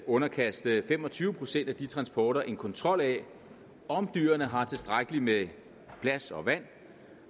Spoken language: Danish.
underkaste fem og tyve procent af de transporter en kontrol af om dyrene har tilstrækkeligt med plads og vand